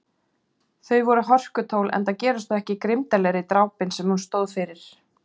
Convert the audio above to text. Þau voru hörkutól enda gerast þau ekki grimmdarlegri, drápin sem hún stóð fyrir.